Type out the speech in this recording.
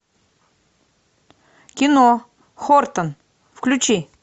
кино хортон включи